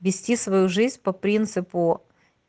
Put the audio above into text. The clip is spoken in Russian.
вести свою жизнь по принципу